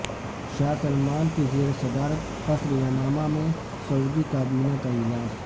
شاہ Salman کی زیر صدارت قصر یمامہ میں سعودی کابینہ کا اجلاس